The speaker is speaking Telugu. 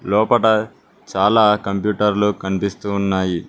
లోపట చాలా కంప్యూటర్లు కనిపిస్తూ ఉన్నాయి.